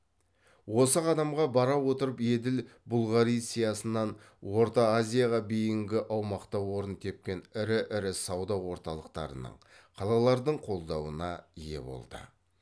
осы қадамға бара отырып еділ бұлғариясынан орта азияға бейінгі аумақта орын тепкен ірі ірі сауда орталықтарының қалалардың қолдауына ие болды